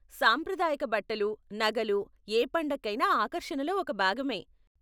సాంప్రదాయక బట్టలు, నగలు ఏ పండక్కైనా ఆకర్షణలో ఒక భాగమే.